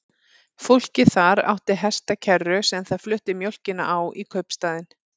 Fólkið þar átti hestakerru sem það flutti mjólkina á í kaupstaðinn.